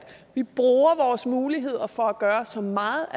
vi bruger vores muligheder for at gøre så meget